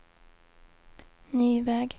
ny väg